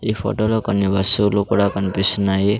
ఈ ఫోటో లో కొన్ని వస్తువులు కూడా కనిపిస్తున్నాయి.